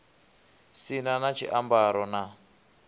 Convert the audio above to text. si na na tshiambaro na